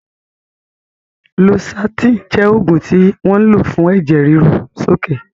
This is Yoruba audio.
Losartan jẹ́ oògùn tí wọ́n ń lò fún ẹ̀jẹ̀ ríru sókè